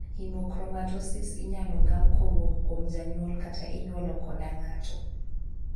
Hemochromatosis inyalo gam kowuok kuom janyuol kata inyuolo koda ng'ato.